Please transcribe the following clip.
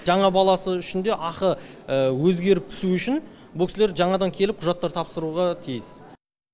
жаңа баласы үшін де ақы өзгеріп түсуі үшін бұл кісілер жаңадан келіп құжаттар тапсыруға тиіс